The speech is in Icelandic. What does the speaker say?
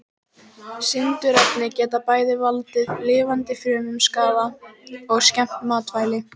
Sindurefni geta bæði valdið lifandi frumum skaða og skemmt matvæli.